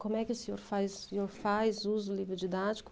Como é que o senhor faz? O senhor faz uso do livro didático?